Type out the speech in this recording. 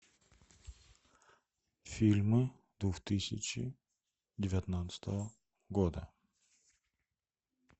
фильмы двух тысячи девятнадцатого года